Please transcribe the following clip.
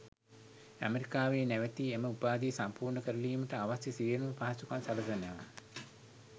ඇමරිකාවේ නැවතී එම උපාධිය සම්පූර්ණ කරලීමට අවශ්‍ය සියළුම පහසුකම් සැලසෙනවා.